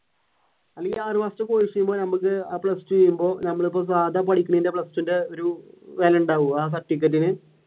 അല്ലെങ്കിൽ ആറു മാസത്തെ course ചെയ്യുമ്പോൾ ഞമ്മുക്ക് plus two കഴിയുമ്പോൾ ഞമ്മളിപ്പോ സാധാ പഠിക്കുന്ന plus two ന്റെ ഒരു ഇത് തന്നെ ഉണ്ടാവോ ആ certificate ഇൻ